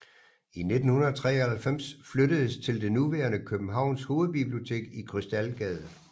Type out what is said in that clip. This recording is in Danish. I 1993 flyttedes til det nuværende Københavns Hovedbibliotek i Krystalgade